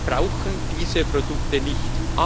Wir brauchen diese Produkte nicht.